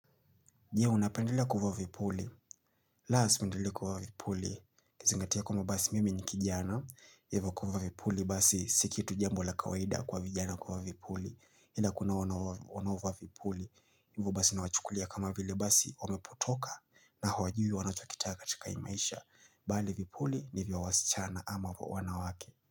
Nye, unapendelea kuvaa vipuli. La, sipendelei kuvaa vipuli. Kizingatia kwamba basi mimi ni kijana. Hivo kuvaa vipuli basi sikitu jambo la kawaida kwa vijana kuvaa vipuli. Ila kuna wanaovaa vipuli. Hivo basi nawachukulia kama vile basi wameputoka na hawajui wanacho kitaka katika hii maisha. Bali vipuli ni vya wasichana ama wanawake.